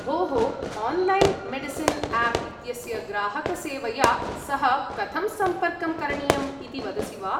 भोः, online medicine app इत्यस्य ग्राहकसेवया सह कथं सम्पर्कं करणीयम् इति वदसि वा?